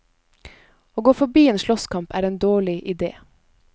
Å gå forbi en slåsskamp, er en dårlig idé.